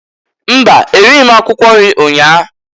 Mba! E righi m akwụkwọ nri nnyaa.